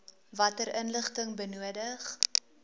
watter inligting benodig